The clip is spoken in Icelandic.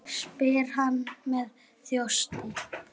spyr hann með þjósti.